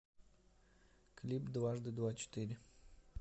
клип дважды два четыре